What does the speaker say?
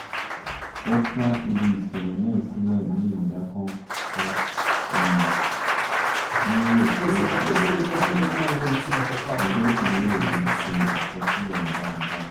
ó ká ibi ìṣẹ̀lẹ̀ náà sílẹ̀ ní ìdákọ́ńkọ́ um ń rò pé àwọn um agbófinro ò ní ṣe àkọsílẹ̀ rẹ̀ dáadáa